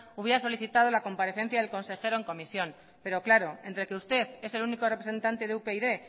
hubiera solicitado la comparecencia del consejero en comisión pero claro entre que usted es el único representante de upyd